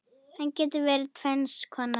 Hann getur verið tvenns konar